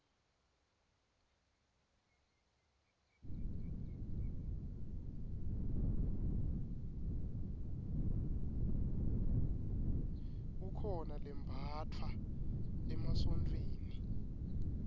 kukhona lembatfwa emasontfweni